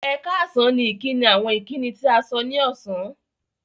Ẹ̀kààsán ni ìkíni àwọn ìkíni tí à sọ̀ ní ọṣán